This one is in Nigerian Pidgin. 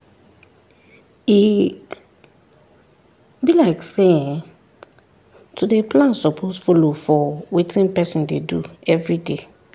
e be like say[um]to dey plan suppose follow for wetin person dey do everyday